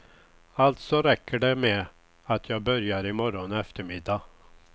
Alltså räcker det med att jag börjar i morgon eftermiddag.